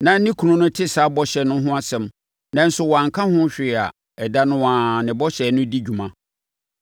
na ne kunu no te saa bɔhyɛ no ho asɛm nanso wanka ho hwee ɛda no ara a, ne bɔhyɛ no di dwuma.